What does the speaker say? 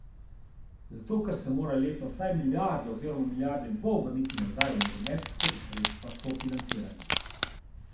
Zato, ker se mora letno vsaj milijardo oziroma milijardo in pol vrnili nazaj v nogomet skozi sredstva sofinanciranja.